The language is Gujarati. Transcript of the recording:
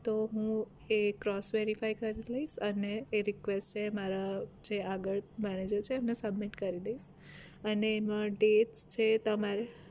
તો હું એ cross verify કરી લઈશ અને એ request એ મારા જે આગળ manager છે એ ને submit કરી દઈશ અને એની dates છે તમારે